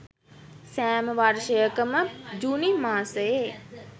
සෑම වර්ෂයක ම ජුනි මාසයේ